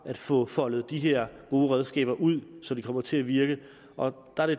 at få foldet de her gode redskaber ud så de kommer til at virke og